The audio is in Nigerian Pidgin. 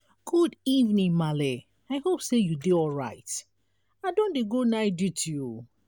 good evening maala i hope sey you dey alright. i don dey go night duty.